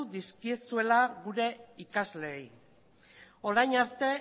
dizkizuela gure ikasleei orain arte